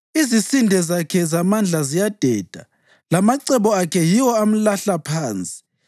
Izisinde zakhe zamandla ziyadeda; lamacebo akhe yiwo amlahla phansi.